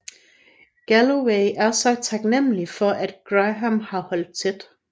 Galloway er så taknemmelig for at Graham har holdt tæt